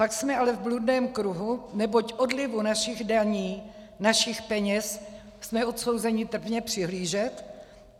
Pak jsme ale v bludném kruhu, neboť odlivu našich daní, našich peněz jsme odsouzeni trpně přihlížet.